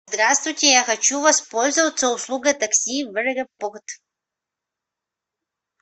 здравствуйте я хочу воспользоваться услугой такси в аэропорт